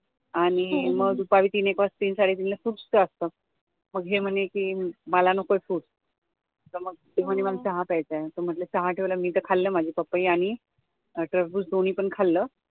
आणि मग दुपारी तीन एक वाजता तीन साडे तीन ला फ्रुट्स असत मग हे म्हणले कि मला नको fruits, ते म्हणे मला चहा प्यायचं मग चहा ठेवला मी खाल्लं माझं पपई आणि टरबुस दोन्ही पण खाल्लं